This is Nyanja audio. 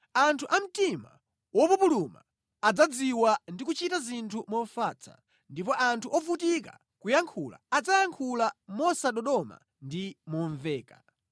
Anthu a mtima wopupuluma adzadziwa ndi kuchita zinthu mofatsa, ndipo anthu ovutika kuyankhula adzayankhula mosadodoma ndi momveka.